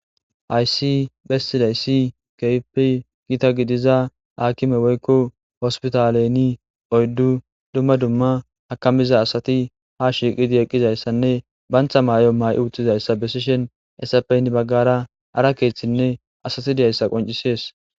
Hayssi bessidayssi keypi gita gidiza akime woykko hospitaleni oyddu dumma dumma hakamiza asati ha shiiqidi eqqizayssanne bantha may7o maay'i uttizayssa besishen essapeyn baggara ara keeththinne asati diyayssa qoncisees